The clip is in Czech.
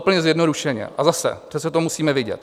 Úplně zjednodušeně - a zase, přece to musíme vidět.